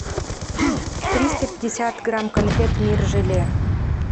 триста пятьдесят грамм конфет мир желе